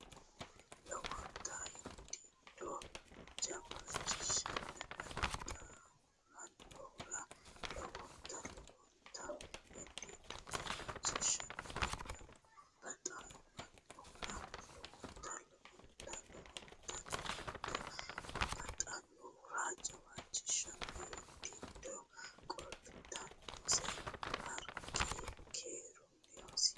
Lowonta hindiiddo jawaachishanni baxamannohura lowonta Lowonta hindiiddo jawaachishanni baxamannohura lowonta Lowonta Lowonta lowonta baxamannohura jawaachishanni hindiiddo qalxitannase Harqi Keerunni hosse !